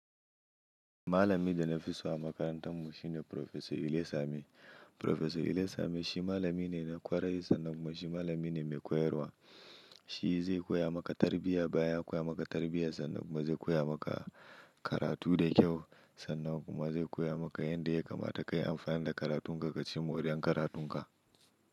Malami da na fi so a makarantarmu shine Profesor Ilesanmi. Profesor Ilesanmi shi malami ne na kwarai sannan kuma shi malami ne mai koyarwa. Shi zai koya maka tarbiyya, bayan ya koya maka tarbiyya sannan kuma zai koya maka karatu da kyau sannan kuma zai koya maka yanda ya kamata kayi amfani da karatunka ka ci mori'an karatunka.